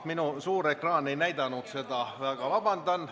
Minu suur ekraan ei näidanud seda, palun väga vabandust.